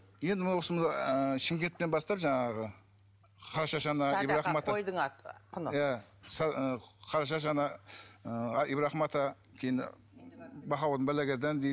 енді мына осы мына ыыы шымкенттен бастап жаңағы қарашаш ана қойдың аты құны иә қарашаш ана ы ибрахим ата кейін дейді